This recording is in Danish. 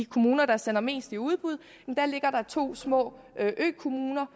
kommuner der sender mest i udbud er der to små økommuner